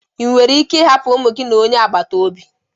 Ị nwere ike ịhapụ ụmụ gị na onye agbata obi?